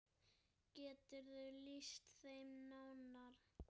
Geturðu lýst þeim nánar?